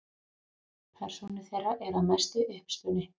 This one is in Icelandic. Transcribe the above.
Persónur þeirra eru að mestu uppspuni.